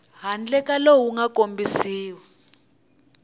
handle ka lowu nga kombisiwa